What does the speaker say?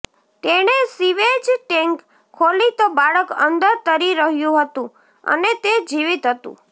તેણે sewage tank ખોલી તો બાળક અંદર તરી રહ્યુ હતુ અને તે જીવિત હતુ